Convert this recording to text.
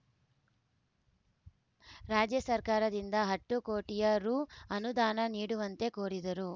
ರಾಜ್ಯ ಸರ್ಕಾರದಿಂದ ಹತ್ತು ಕೋಟಿಯ ರು ಅನುದಾನ ನೀಡುವಂತೆ ಕೋರಿದರು